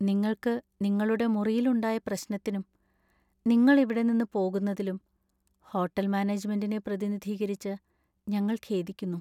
നിങ്ങൾക്കു നിങ്ങളുടെ മുറിയിൽ ഉണ്ടായ പ്രശ്നത്തിനും, നിങ്ങൾ ഇവിടെ നിന്ന് പോകുന്നതിലും ഹോട്ടൽ മാനേജ്മെന്‍റിനെ പ്രതിനിധീകരിച്ച്, ഞങ്ങൾ ഖേദിക്കുന്നു.